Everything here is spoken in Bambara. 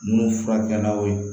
Minnu furakɛlaw